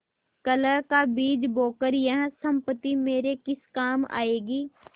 कलह का बीज बोकर यह सम्पत्ति मेरे किस काम आयेगी